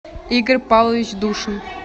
игорь павлович душин